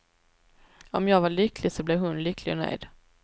Om jag var lycklig så blev hon lycklig och nöjd.